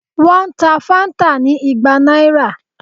Wọ́n ta Fanta ni igba náírà